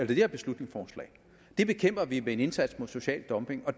det her beslutningsforslag det bekæmper vi med en indsats mod social dumping og